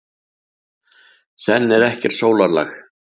Senn er ekkert sólarlag.